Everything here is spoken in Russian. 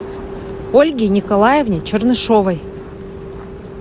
ольге николаевне чернышевой